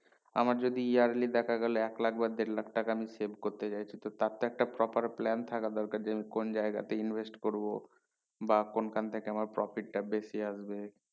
আমার যদি yearly দেখা গেলো এক লক্ষ বা দেড় লক্ষ টাকা আমি save করতে চাইছি তো তার একটা proper plan থাকে দরকার যে আমি কোন জায়গাতে invest করবো বা কোনখান থেকে আমার profit টা বেশি আসবে